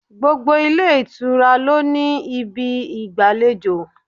Gbogbo ilé ìtura lo ní ibi igbalejo.